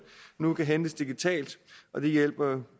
nu kan hentes digitalt og det hjælper jo